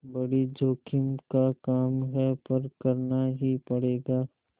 बड़ी जोखिम का काम है पर करना ही पड़ेगा